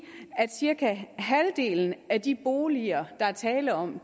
at cirka halvdelen af de boliger der er tale om